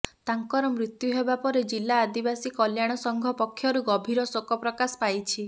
ତାଙ୍କର ମୃତ୍ୟୁ ହେବାପରେ ଜିଲ୍ଲା ଆଦିବାସି କଲ୍ୟାଣ ସଂଘ ପକ୍ଷରୁ ଗଭିର ଶେକ ପ୍ରକାଶ ପାଇଛି